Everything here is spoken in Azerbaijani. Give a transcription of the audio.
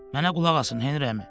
Mənə qulaq asın, Henri əmi.